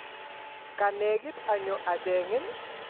ka negit anyo achengin